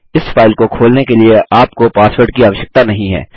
इस फाइल को खोलने के लिए आपको पासवर्ड की आवश्यकता नहीं है